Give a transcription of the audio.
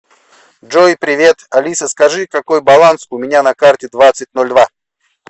джой привет алиса скажи какой баланс у меня на карте двадцать ноль два